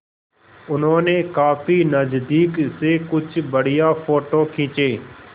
उन्होंने काफी नज़दीक से कुछ बढ़िया फ़ोटो खींचे